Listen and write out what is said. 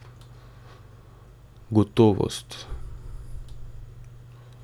Gotovost.